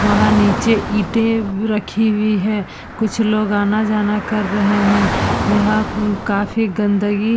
वहाँ नीचे ईंटे बी रखी हुई है कुछ लोग आना-जाना कर रहे हैं यह म काफी गंदगी --